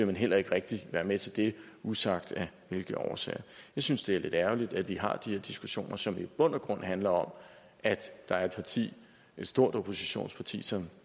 man heller ikke rigtig være med til det usagt af hvilke årsager jeg synes det er lidt ærgerligt at vi har de her diskussioner som i bund og grund handler om at der er et parti et stort oppositionsparti som